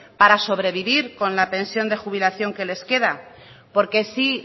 para sobrevivir con la pensión de jubilación que les queda porque sí